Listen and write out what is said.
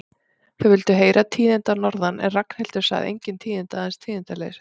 Þau vildu heyra tíðindi að norðan en Ragnhildur sagði engin tíðindi, aðeins tíðindaleysi.